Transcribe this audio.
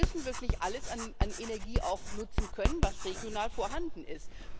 Wir müssen wirklich auch alles an Energie nutzen können, was regional vorhanden ist.